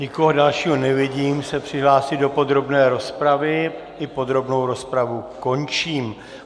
Nikoho dalšího nevidím se přihlásit do podrobné rozpravy, i podrobnou rozpravu končím.